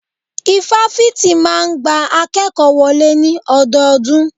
Ifáfitì máà ń gba akékòó wọlé ní ọdọọdún.